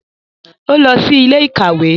O lọ sí ilé-ìkawe